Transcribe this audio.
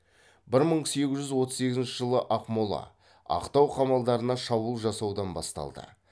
бір мың сегіз жүз отыз сегізінші жылы ақмола ақтау қамалдарына шабуыл жасаудан басталды